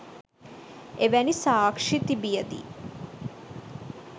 එවැනි සාක්ෂි තිබියදී